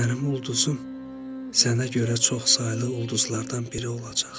Mənim ulduzum sənə görə çox saylı ulduzlardan biri olacaq.